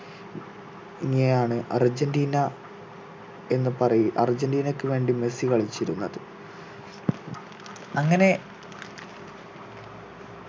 ഇങ്ങെയാണ് Argentina എന്ന് പറയ് അർജന്റീനയ്ക്ക് വേണ്ടി മെസ്സി കളിച്ചിരുന്നത് അങ്ങനെ